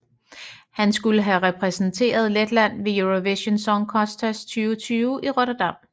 Hun skulle have repræsenteret Letland ved Eurovision Song Contest 2020 i Rotterdam